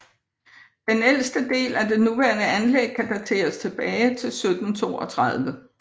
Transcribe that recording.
Den ældste af del af det nuværende anlæg kan dateres tilbage til 1732